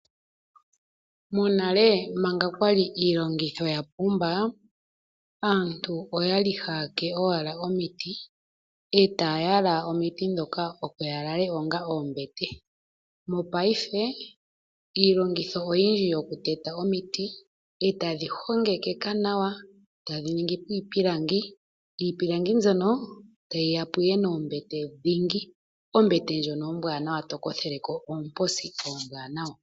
Monale manga kwali iilongitho ya pumba, aantu oya li ha ya ke owala omiti, ee taya yala omiti dhoka opo ya lale onga oombete. Mopaife iilongitho oyindji yo ku teta omiti, ee tadhi hongekeka nawa tadhi ningi po iipilangi. Iipilangi mbyono ta yi yapo ihe noombete dhingi. Ombete ndjono ombwaanawa, tokotheleko oomposi oombwanawa.